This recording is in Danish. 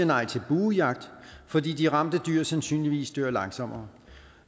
nej til buejagt fordi de ramte dyr sandsynligvis dør langsommere